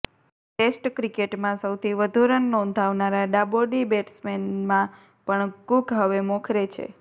test ક્રિકેટમાં સૌથી વધુ રન નોંધાવનારા ડાબોડી બેટસમેનમાં પણ કુક હવે મોખરે છે